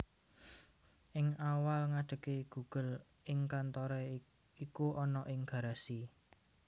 Ing awal ngadege Google Inc kantoré iku ana ing Garasi